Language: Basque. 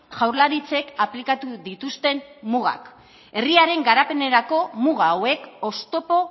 jaurlaritzek aplikatu dituzten mugak herriaren garapenerako muga hauek oztopo